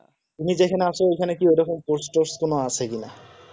তুমি যেখানে আছো এখানে কি ওরকম কোন post টোস্ট কোন আছে কিনা